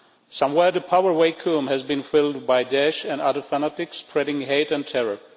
Somewhere the power vacuum has been filled by Da'esh and other fanatics spreading hate and terror.